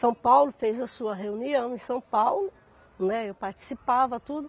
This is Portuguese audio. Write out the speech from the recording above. São Paulo fez a sua reunião em São Paulo, né, eu participava, tudo.